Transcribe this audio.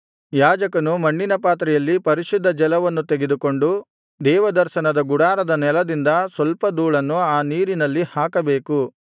ಯಾಜಕನು ಮಣ್ಣಿನ ಪಾತ್ರೆಯಲ್ಲಿ ಪರಿಶುದ್ಧ ಜಲವನ್ನು ತೆಗೆದುಕೊಂಡು ದೇವದರ್ಶನದ ಗುಡಾರದ ನೆಲದಿಂದ ಸ್ವಲ್ಪ ಧೂಳನ್ನು ಆ ನೀರಿನಲ್ಲಿ ಹಾಕಬೇಕು